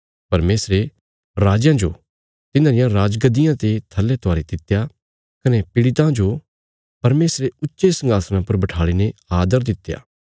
परमेशरे राजयां जो तिन्हां रिया राजगद्दियां ते थल्ले त्वारी दित्या कने पिड़ितां जो परमेशरे ऊच्चे संघासणां पर बठाल़ीने आदर दित्या